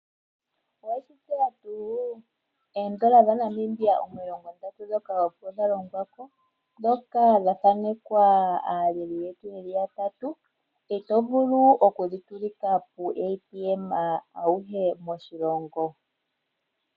Oweshi tseya tuu? Oodola dhaNamibia omilongo ndatu ndhoka opo dha longwa ko ndhoka dha thanekwa aaleli yetu yotango ye li ya tatu ito vulu okudhi tsilika puuATM auhe moshilongo.